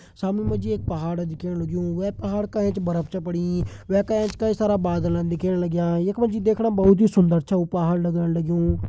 सामणी मजी एक पहाड़ दिखेण लग्युं। वै पहाड़ का एंच बरप छ पड़ीं। वै का एंच कई सारा बादलन दिखेण लग्यां। यक मजी देखणा बोहोत ही सुंदर छा उ पहाड़ लगण लग्युं।